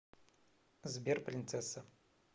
сбер принцесса